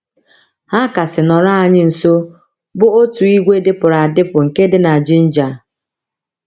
Ha kasị nọrọ anyị nso bụ otu ìgwè dịpụrụ adịpụ nke dị na Jinja.